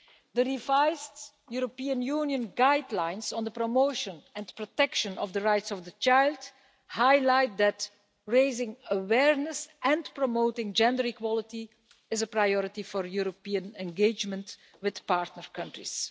The revised European Union guidelines for the promotion and protection of the rights of the child highlight the fact that raising awareness and promoting gender equality is a priority for European engagement with partner countries.